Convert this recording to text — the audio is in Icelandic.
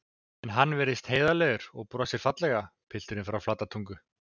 En hann virðist heiðarlegur og hann brosir fallega, pilturinn frá Flatatungu.